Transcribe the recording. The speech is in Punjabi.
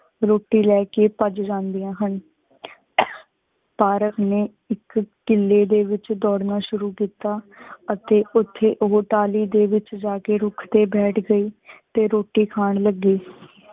ਰੋਟੀ ਲੈ ਕੀ ਭੱਜ ਜਾਨ੍ਦਿਯਾ ਹਨ ਤਾਰਿਕ਼ ਨੀ ਇਕ ਕਿਲੇ ਦੇ ਵਿਚ ਦੌੜਨਾ ਸ਼ੁਰੂ ਕੀਤਾ ਅਤੇ ਓਥੇ ਉਹ ਤਲੀ ਦੇ ਵਿਚ ਰੁਕ ਤੇ ਬੈਠ ਗਯੀ ਤੇ ਰੋਟੀ ਖਾਨ ਲੱਗੀ।